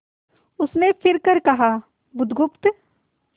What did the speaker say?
उसने फिर कर कहा बुधगुप्त